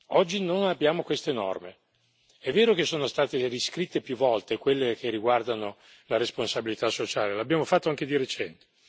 Oggi non abbiamo queste norme. È vero che sono state riscritte più volte quelle che riguardano la responsabilità sociale, e l'abbiamo fatto anche di recente.